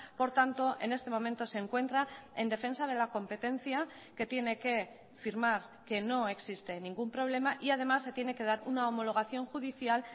por tanto en este momento se encuentra en defensa de la competencia que tiene que firmar que no existe ningún problema y además se tiene que dar una homologación judicial